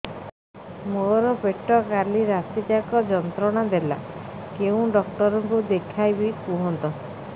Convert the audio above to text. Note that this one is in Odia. ମୋର ପେଟ କାଲି ରାତି ଯାକ ଯନ୍ତ୍ରଣା ଦେଲା କେଉଁ ଡକ୍ଟର ଙ୍କୁ ଦେଖାଇବି କୁହନ୍ତ